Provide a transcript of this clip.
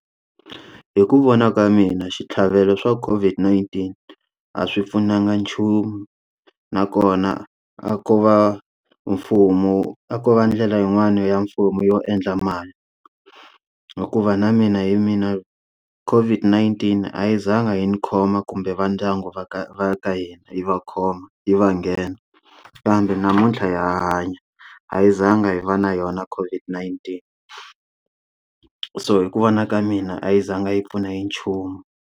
Hi ku vona ka mina switlhavelo swa COVID-19 a swi pfunanga nchumu nakona a ko va mfumo a ko va ndlela yin'wana ya mfumo yo endla mali hikuva na mina hi mina COVID-19 a yi zanga yi ndzi khoma kumbe va ndyangu va ka va ka hina yi va khoma hi va nghena kambe namuntlha ya hanya a yi zanga yi va na yona COVID-19 so hi ku vona ka mina a yi zanga yi pfuna hi nchumu.